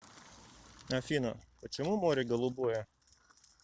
афина почему море голубое